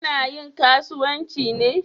Ta na yin karuwanci ne?